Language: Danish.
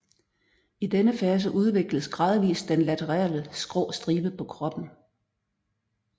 I denne fase udvikles gradvist den laterale skrå stribe på kroppen